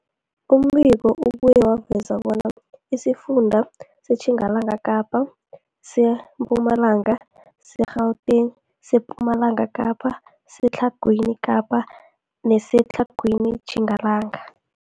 Umbiko ubuye waveza bona isifunda seTjingalanga Kapa, seMpumalanga, seGauteng, sePumalanga Kapa, seTlhagwini Kapa neseTlhagwini Tjingalanga.